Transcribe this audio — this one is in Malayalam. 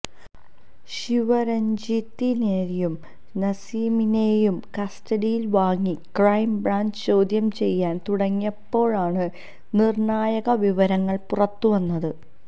ശിവരജ്ഞിത്തിനെയും നസീമിനെയും കസ്റ്റഡിയില് വാങ്ങി ക്രൈം ബ്രാഞ്ച് ചോദ്യം ചെയ്യാന് തുടങ്ങിയപ്പോഴാണ് നിര്ണായക വിവരങ്ങള് പുറത്തുവന്നത്